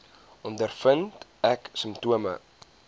ondervind ek simptome